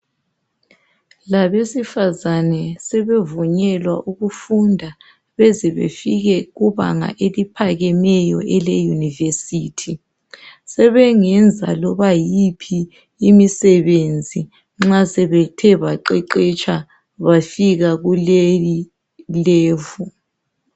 Labesifazana sebevunyelwa ukufunda bezebefike kubanga eliphakemeyo eleyunivesithi. Sebengenza loba yiphi izisebenzi nxa sebethe baqeqetsha bafika kulelibanga.